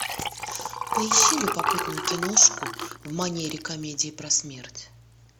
поищи любопытную киношку в манере комедии про смерть